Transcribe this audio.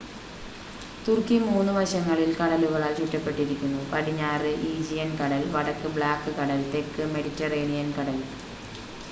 തുർക്കി 3 വശങ്ങളിൽ കടലുകളാൽ ചുറ്റപ്പെട്ടിരിക്കുന്നു പടിഞ്ഞാറ് ഈജിയൻ കടൽ വടക്ക് ബ്ലാക്ക് കടൽ തെക്ക് മെഡിറ്ററേനിയൻ കടൽ